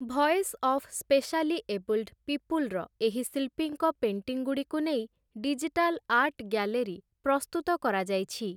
Voice of specially abled ପିପୁଲର ଏହି ଶିଳ୍ପୀଙ୍କ ପେଣ୍ଟିଙ୍ଗ୍‌ଗୁଡ଼ିକୁ ଡିଜିଟାଲ୍ ଆର୍ଟ ଗ୍ୟାଲେରି ପ୍ରସ୍ତୁତ କରାଯାଇଛି ।